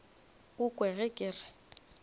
o kwe ge ke re